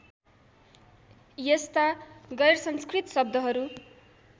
यस्ता गैरसंस्कृत शब्दहरू